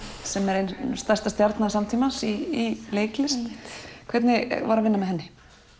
sem er ein stærsta stjarna samtímans í leiklist hvernig var að vinna með henni